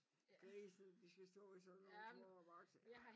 Grisene de skal stå i sådan nogle små bokse